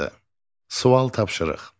Sual tapşırıq.